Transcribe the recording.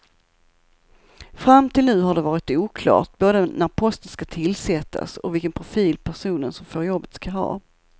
Fram till nu har det varit oklart både när posten ska tillsättas och vilken profil personen som får jobbet ska ha.